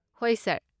ꯍꯣꯏ, ꯁꯥꯔ꯫